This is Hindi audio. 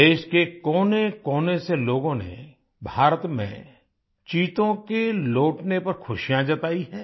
देश के कोनेकोने से लोगों ने भारत में चीतों के लौटने पर खुशियाँ जताई हैं